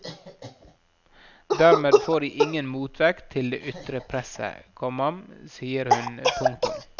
Dermed får de ingen motvekt til det ytre presset, komma sier hun. punktum